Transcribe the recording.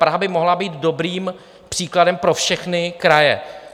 Praha by mohla být dobrým příkladem pro všechny kraje.